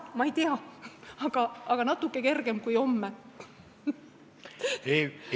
Ma ei tea, aga nii oleks natuke kergem kui siis, kui see toimuks homme.